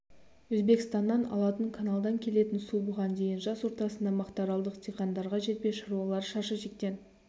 өзбекстаннан алатын каналдан келетін су бұған дейін жаз ортасында мақтаралдық диқандарға жетпей шаруалар шаш етектен